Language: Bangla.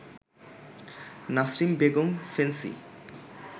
নাসরিন বেগম ফেন্সি